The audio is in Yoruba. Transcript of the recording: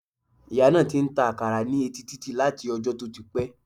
Ìyá náà ti n ta àkàrà ní etí títì láti ojó tó ti pé